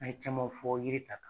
An ye camanw fɔ yiri ta